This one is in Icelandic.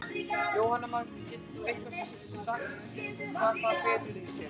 Jóhanna Margrét: Getur þú eitthvað sagt hvað það felur í sér?